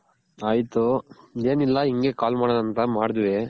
ಆಯ್ತು ಏನಿಲ್ಲ ಹಿಂಗೆ call ಮಾಡೋಣ ಅಂತ ಮಾಡಿದ್ವಿ